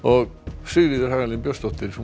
Sigríður Hagalín Björnsdóttir